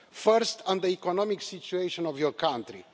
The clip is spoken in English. First on the economic situation of your country.